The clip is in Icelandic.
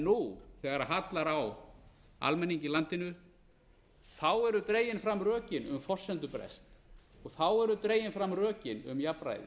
nú þegar harðnar á almenningi í landinu eru dregin fram rökin um forsendubrest og þá eru dregin fram rökin um jafnræði